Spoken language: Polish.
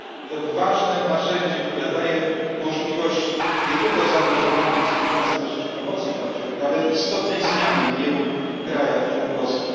To ważne narzędzie, które daje możliwość nie tylko zaangażowania i współpracy na rzecz promocji praw człowieka, ale istotnej zmiany w wielu krajach członkowskich.